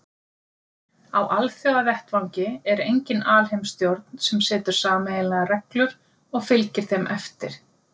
Á alþjóðavettvangi er engin alheimsstjórn sem setur sameiginlegar reglur og fylgir þeim eftir.